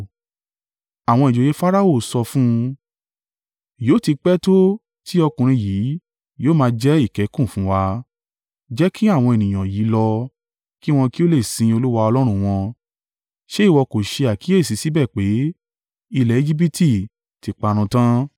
Àwọn ìjòyè Farao sọ fún un, “Yóò ti pẹ́ to tí ọkùnrin yìí yóò máa jẹ́ ìkẹ́kùn fún wa? Jẹ́ kí àwọn ènìyàn yìí lọ, kí wọn kí ó le sìn Olúwa Ọlọ́run wọn. Ṣe ìwọ kò ṣe àkíyèsí síbẹ̀ pé, ilẹ̀ Ejibiti ti parun tán?”